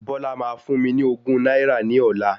Bọ́lá máa fún mi ní ogún náírà ní ọlá.